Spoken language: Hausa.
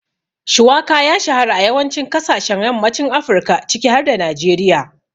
Shuwaka ya shahara a yawancin kasashen yammacin Afirka ciki har da Najeriya.